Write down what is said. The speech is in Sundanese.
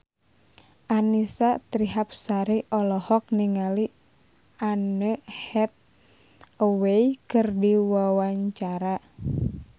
Annisa Trihapsari olohok ningali Anne Hathaway keur diwawancara